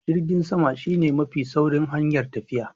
Jirgin sama shi ne mafi saurin hanyar tafiya.